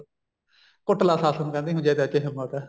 ਕੁੱਟ ਲੈ ਸੱਸ ਨੂੰ ਕਹਿੰਦੀ ਜੇ ਤੇਰੇ ਚ ਹਿੰਮਤ ਐ